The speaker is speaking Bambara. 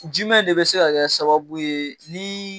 Jumɛn de bɛ se ka kɛ sababu ye ni.